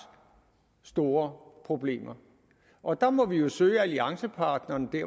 store problemer og der må vi vi søge alliancepartnerne